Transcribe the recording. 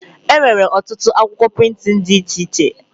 Enwere ọtụtụ akwụkwọ prịntịn dị iche iche